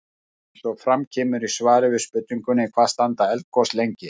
Eins og fram kemur í svari við spurningunni Hvað standa eldgos lengi?